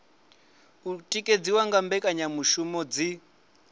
o tikedziwa nga mbekanyamushumo dzi